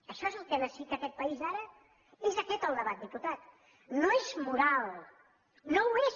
això és el que necessita aquest país ara és aquest el debat diputat no és moral no ho és